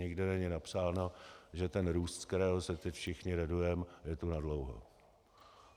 Nikde není napsáno, že růst, z kterého se teď všichni radujeme, je tu nadlouho.